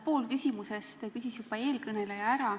Pool küsimusest küsis eelkõneleja juba ära.